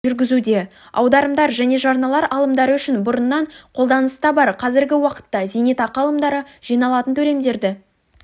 жүргізуде аударымдар мен жарналар алымдары үшін бұрыннан қолданыста бар қазіргі уақытта зейнетақы алымдары жиналатын төлемдерді